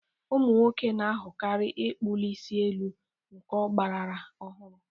Ụmụ nwoke na-ahọrọkarị ịkpuli isi elu nke ọgbrara ọhụrụ.